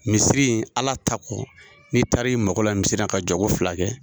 Misiri in ala ta kɔ, n'i taari mako la misiri, ka jɔɔgo fila kɛ.